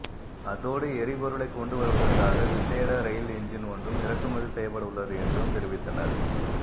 அதோடு எரிபொருளைக் கொண்டு வருவதற்காக விசேட ரயில் எஞ்ஜின் ஒன்றும் இறக்குமதி செய்யப்படவுள்ளது என்றும் தெரிவித்தனர்